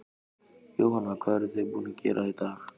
Jóhanna: Hvað eruð þið búin að gera í dag?